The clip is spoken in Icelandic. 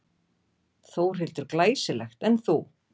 Þórhildur: Glæsilegt, en þú?